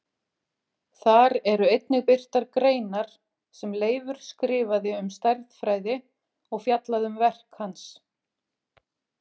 Þar eru einnig birtar greinar sem Leifur skrifaði um stærðfræði og fjallað um verk hans.